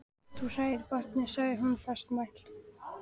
Þú hræðir barnið, sagði hún fastmælt.